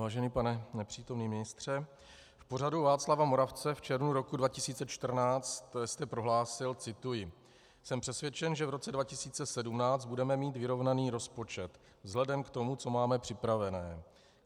Vážený pane nepřítomný ministře, v pořadu Václava Moravce v červnu roku 2014 jste prohlásil - cituji: "Jsem přesvědčen, že v roce 2017 budeme mít vyrovnaný rozpočet vzhledem k tomu, co máme připravené.